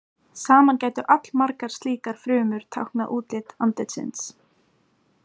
Saman gætu allmargar slíkar frumur táknað útlit andlitsins.